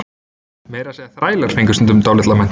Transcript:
Meira að segja þrælar fengu stundum dálitla menntun.